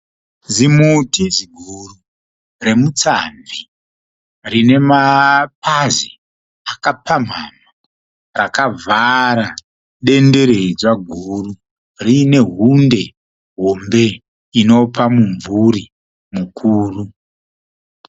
Zimuti ziguru remutsamvi rinemapazi akapamhamha rakavhara denderedzwa guru riine hundi hombe inopa mumvuri mukuru.